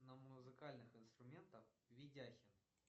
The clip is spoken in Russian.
на музыкальных инструментах видяхин